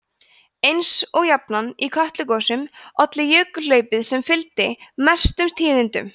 eins og jafnan í kötlugosum olli jökulhlaupið sem fylgdi mestum tíðindum